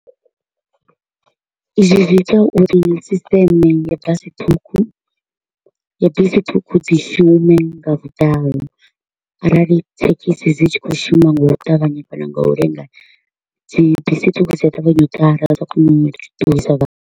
Izwi zwi ita uri system ya basi ṱhukhu, ya bisi ṱhukhu dzi shume nga vhuḓalo arali thekhisi dzi tshi kho u shuma nga u ṱavhanya kana nga u lenga, dzi bisi ṱhukhu dzi a ṱavhanya u ḓala dza kona u ṱuwisa vhathu.